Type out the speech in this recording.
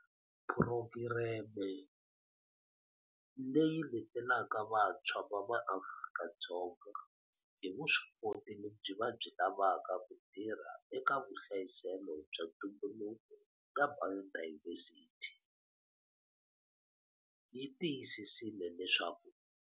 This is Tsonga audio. Phurogireme, leyi letelaka vantshwa va MaAfrika-Dzonga hi vuswikoti lebyi va byi lavaka ku tirha eka vuhlayiselo bya ntumbuluko na bayodayivhesithi, yi tiyisisile leswaku.